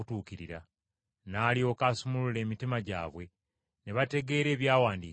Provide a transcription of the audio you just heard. N’alyoka asumulula emitima gyabwe, ne bategeera ebyawandiikibwa.